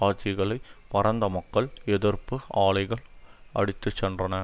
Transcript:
ஆட்சிகளை பரந்த மக்கள் எதிர்ப்பு ஆலைகள் அடித்துச்சென்றன